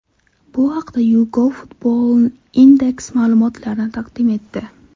Bu haqda YouGov-FootballIndex ma’lumotlarni taqdim etdi .